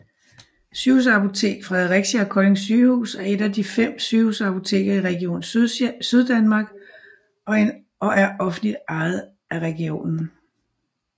Sygehusapotek Fredericia og Kolding Sygehuse er et af de fem sygehusapoteker i Region Syddanmark og er offentligt ejet af regionen